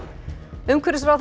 umhverfisráðherra